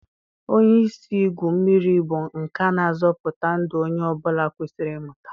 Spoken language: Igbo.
Onye isi igwu mmiri bụ nka na-azọpụta ndụ onye ọ bụla kwesịrị ịmụta.